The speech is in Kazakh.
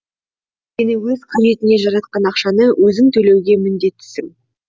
өйткені өз қажетіңе жаратқан ақшаны өзің төлеуге міндеттісің